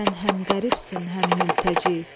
Sən həm qəribsən, həm mültəci.